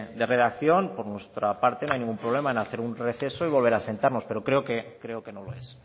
de redacción por nuestra parte no hay ningún problema en hacer un receso y volver a sentarnos pero creo que no lo es